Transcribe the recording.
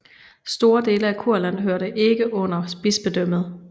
Store dele af Kurland hørte ikke under bispedømmet